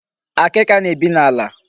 Akịka na-ebi n'ala.